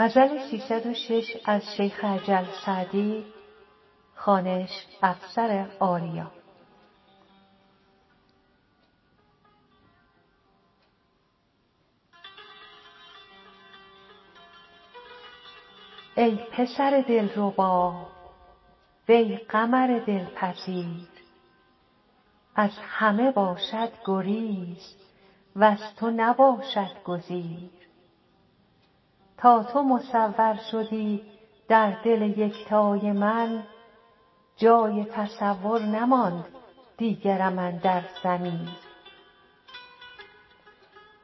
ای پسر دلربا وی قمر دلپذیر از همه باشد گریز وز تو نباشد گزیر تا تو مصور شدی در دل یکتای من جای تصور نماند دیگرم اندر ضمیر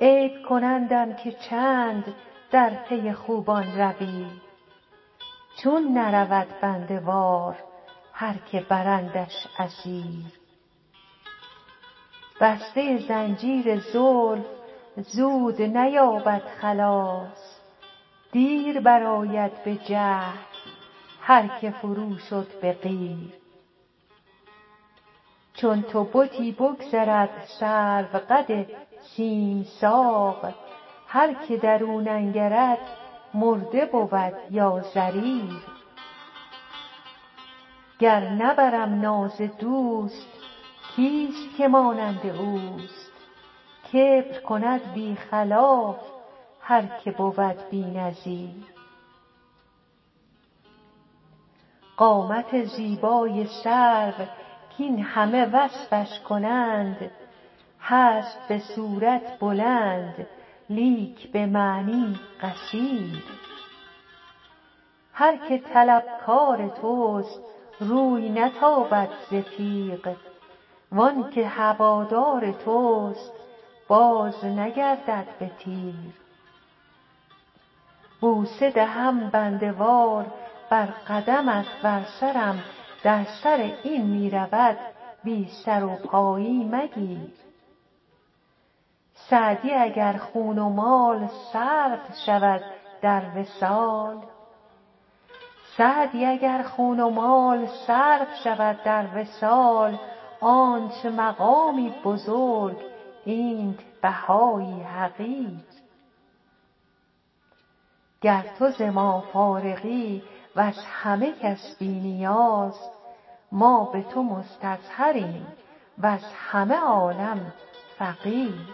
عیب کنندم که چند در پی خوبان روی چون نرود بنده وار هر که برندش اسیر بسته زنجیر زلف زود نیابد خلاص دیر برآید به جهد هر که فرو شد به قیر چون تو بتی بگذرد سروقد سیم ساق هر که در او ننگرد مرده بود یا ضریر گر نبرم ناز دوست کیست که مانند اوست کبر کند بی خلاف هر که بود بی نظیر قامت زیبای سرو کاین همه وصفش کنند هست به صورت بلند لیک به معنی قصیر هر که طلبکار توست روی نتابد ز تیغ وان که هوادار توست بازنگردد به تیر بوسه دهم بنده وار بر قدمت ور سرم در سر این می رود بی سر و پایی مگیر سعدی اگر خون و مال صرف شود در وصال آنت مقامی بزرگ اینت بهایی حقیر گر تو ز ما فارغی وز همه کس بی نیاز ما به تو مستظهریم وز همه عالم فقیر